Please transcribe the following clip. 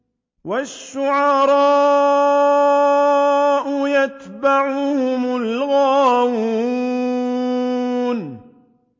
وَالشُّعَرَاءُ يَتَّبِعُهُمُ الْغَاوُونَ